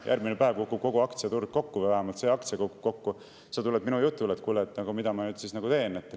" Järgmine päev kukub kogu aktsiaturg kokku või vähemalt see aktsia kukub kokku, sa tuled minu jutule ja "Kuule, mida ma nüüd teen?